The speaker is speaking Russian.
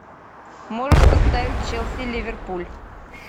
можешь поставить челси ливерпуль